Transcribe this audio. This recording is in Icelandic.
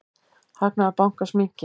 Hagnaður bankans minnki.